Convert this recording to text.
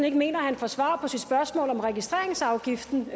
ikke mener at han får svar på sit spørgsmål om registreringsafgiften